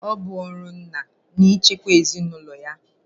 Ọ bụ ọrụ ńnà ichekwa ezinụlọ ya.